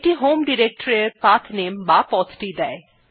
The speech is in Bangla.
এটি হোম ডিরেক্টরী এর পাঠনামে বা পথটি দেয়